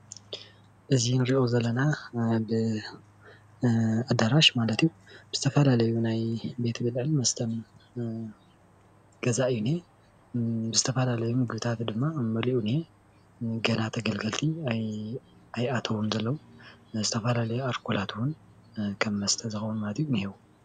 እዚ እንሪኦ ዘለና አብ ኣዳራሽ ማለት እዩ፣ ዝተፈላለዩ ናይ ቤት ብልዕን መስተን ገዛ እዩ ዝኒሀ ፣ዝተፈላለዩ ምግብታት ድማ መሊኡ እኒሀ፣ ገና ተገልገልቲ ኣይ ኣተው ዘለው ዝተፈላለዩ ኣልኮላት እውን ከም መስተ ዝከውን እኒሀው፡፡